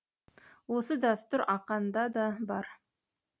осы дәстүр ақанда да бар